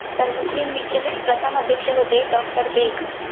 तर मुस्लिम लीगच हे प्रथम अध्यक्ष होते doctor बेग.